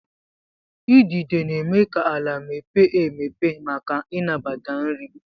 Idide na-eme ka ala mepee emepe maka ịnabata nri.